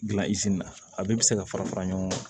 Gilan na a bɛɛ bɛ se ka fara fara ɲɔgɔn kan